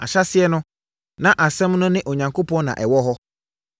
Ahyɛaseɛ no, na Asɛm no ne Onyankopɔn na ɛwɔ hɔ.